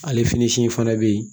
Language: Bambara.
Ale fini in fana bɛ yen